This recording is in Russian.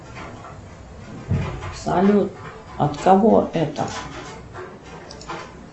салют от кого это